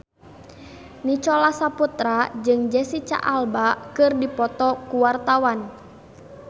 Nicholas Saputra jeung Jesicca Alba keur dipoto ku wartawan